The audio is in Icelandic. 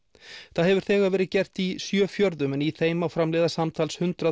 það hefur þegar verið gert í sjö fjörðum en í þeim má framleiða samtals hundrað